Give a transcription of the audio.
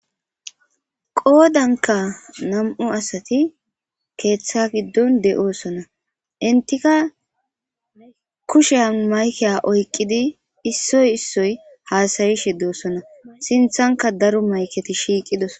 qoodanka nam7u asati keeththa giddon de7oosona intika ne kushen maykea oyqqidi issoy issoy haasayi she doosona sinthanka daro mayketi shiiqidos